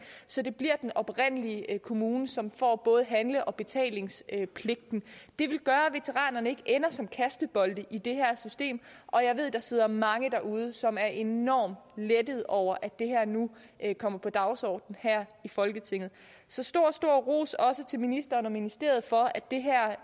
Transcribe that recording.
så det bliver den oprindelige kommune som får både handle og betalingspligten det vil gøre at veteranerne ikke ender som kastebold i det her system og jeg ved der sidder mange derude som er enormt lettede over at det her nu er kommet på dagsordenen her i folketinget så stor stor ros også til ministeren og ministeriet for at det her